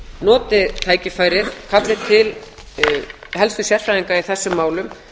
noti tækifærið kalli til helstu sérfræðinga í þessum málum